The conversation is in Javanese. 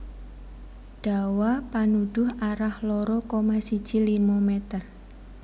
Dawa panuduh arah loro koma siji limo meter